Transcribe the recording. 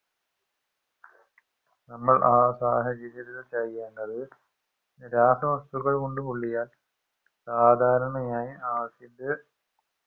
നമ്മൾ ആ സാഹചര്യത്തിൽ ചെയ്യേണ്ടത് രാസവസ്തുക്കൾ കൊണ്ട് പൊള്ളിയാൽ സാധാരണയായി acid